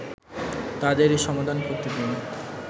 তাদেরই সমাধান করতে দিন